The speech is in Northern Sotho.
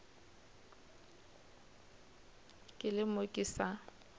ke le mo ke sa